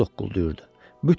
Beli zoqqulduyurdu.